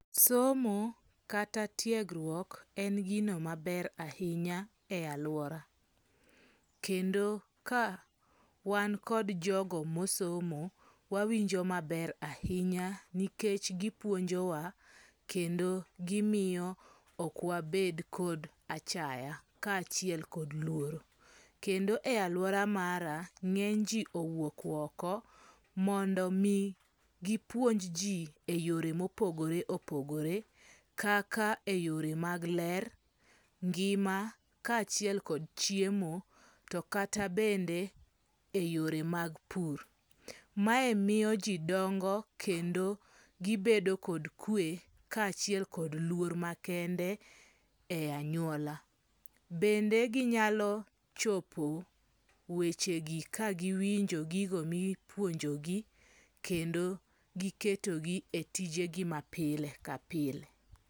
Somo kata tiegruok en gino maber ahinya e aluora, kendo ka wan kod jogo mosomo wawinjo maber ahinya, nikech gipuonjowa kendo gimiyo ok wabed kod achaya kachiel kod luoro', kendo e aluora mara nge'ny ji owuok oko mondo mi gipuonj ji e yore ma opogore opogore kaka e yore mag ler, ngima kachiel kod chiemo to kata bende e yore mag pur, mae miyo ji dongo kendo gibedo kod kwe kaa chiel kod luor makende e anyuola, bende ginyalo chopo wechegi ka giwinjo gigo mipuonjogi kendo giketogi e tijegi ma pile ka pile